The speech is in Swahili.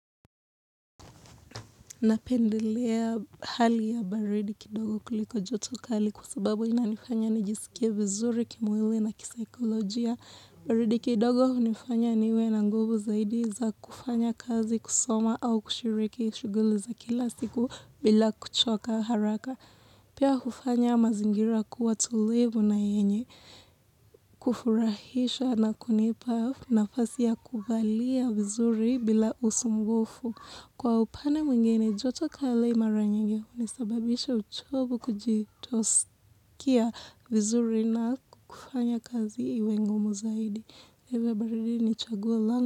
Napendelea hali ya baridi kidogo kuliko joto kali kwa sababu inanifanya nijiskie vizuri kimwili na kisaikolojia. Baridi kidogo hunifanya niwe na nguvu zaidi za kufanya kazi kusoma au kushiriki shughuli za kila siku bila kuchoka haraka. Pia hufanya mazingira kuwa tulivu na yenye, kufurahisha na kunipa nafasi ya kuvalia vizuri bila usumbufu. Kwa upande mwingine, joto kali mara nyingi hunisababisha uchovu kutojiskia vizuri na kufanya kazi iwe ngumu zaidi.